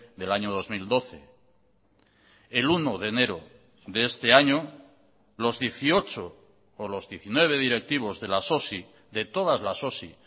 del año dos mil doce el uno de enero de este año los dieciocho o los diecinueve directivos de las osi de todas las osi